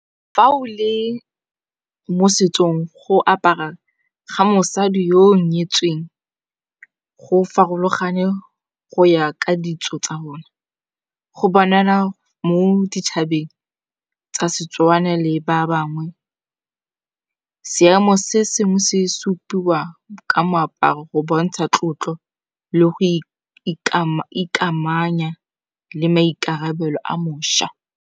Fa o le mo setsong go apara ga mosadi yo o nyetsweng. Go farologane go ya ka ditso tsa bona, go banana mo ditšhabeng tsa setswana le ba bangwe. Seemo se sengwe se supiwa ka moaparo go bontsha tlotlo le go ikamanya le maikarabelo a mošwa.